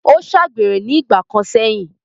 ó ṣàgbèrè ní ìgbà kan sẹ̀yìn.